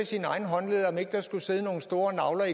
sine egne håndled om ikke der skulle sidde nogle store nagler